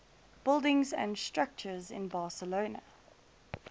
buildings and structures in barcelona